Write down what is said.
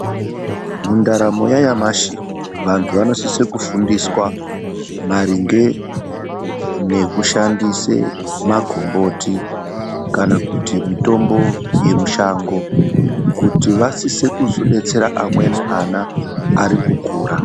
Mundaramo yanyamashi vantu vanosise kufundiswa maringe nekushandise magomboti kana kuti mitombo yemushango kuti vasise kuzodetsera amweni ana arikukura.